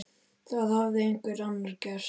Það hafði einhver annar gert.